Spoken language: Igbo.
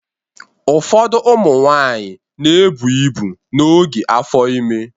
Ụfọdụ ụmụ nwanyị na-ebụ ibu n'oge afọ ime